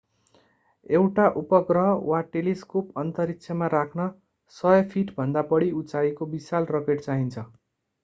एउटा उपग्रह वा टेलिस्कोप अन्तरिक्षमा राख्न 100 फिटभन्दा बढी उचाइको विशाल रकेट चाहिन्छ